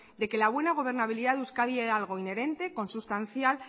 de que la buena gobernabilidad de euskadi era algo inherente consustancial